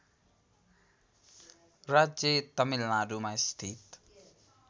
राज्य तमिलनाडुमा स्थित